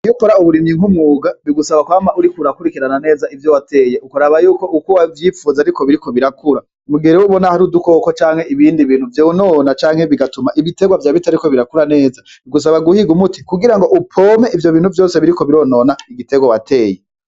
Iyo ukora uburimyi nk'umwuga bigusaba kwama uriko urakurikirana neza ivyo wateye ukaraba yuko uko uvyifuza ariko biriko birakura mugihe ubona hari udukoko canke ibindi bintu vyonona canke bigatuma ibiterwa vyawe bitariko birakura neza bigusaba guhiga umuti kugirango upompe ivyo bintu vyose biriko bironona igiterwa wateye.